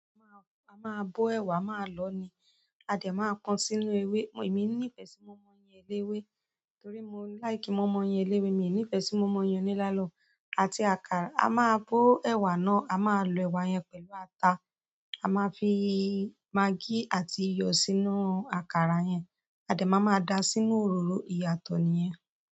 A máa, a máa bó ẹ̀wà, a máa lọ̀ọ́ ni, a dè má ko sínú ewé. Èmi níìfẹ́ sí mọ̀inmọ́in eléwé torí mo like mọ̀inmọ́in eléwé, mi ò ní ìfẹ́ sí mọ̀inmọ́in oní nylon. Àti àkàrà, a máa bó ẹ̀wà náà, a máa lọ ẹ̀wà yẹn pẹ̀lú ata, a máa fi maggí àti iyọ̀ sínú àkàrà yẹn. A dẹ́ ma máa da sínú òróró ìyàtọ̀ nìyẹn.